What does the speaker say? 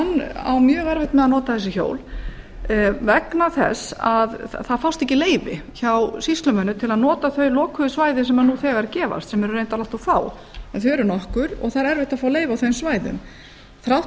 mjög erfitt með að nota þessi hjól vegna þess að það fást ekki leyfi hjá sýslumönnum til að nota þau lokuðu svæði sem nú þegar gefast sem eru reyndar allt of fá en þau eru nokkur og það er erfitt að fá leyfi á þeim svæðum þrátt